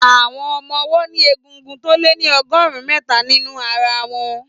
Àwọn ọmọ ọwọ́ ní egungun tó lé ní ọgọ́rùn-ún mẹ́ta nínú ara wọn.